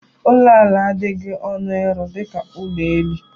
Ụlọ ala adịghị ọnụ ịrụ dịka ụlọ elu.